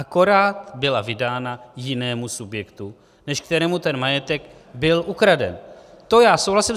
Akorát byla vydána jinému subjektu, než kterému ten majetek byl ukraden, s tím souhlasím.